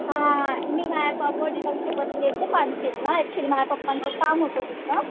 हां मी माझ्या ऍक्च्युली माझे पप्पा होते तिथं